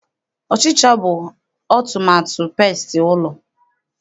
Ọchịcha bụ ọmụmaatụ pestị ụlọ.